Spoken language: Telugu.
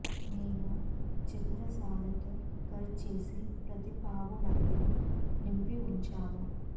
మేము చతురస్రాలతో కట్ చేసి ప్రతి పావు మధ్యలో నింపి ఉంచాము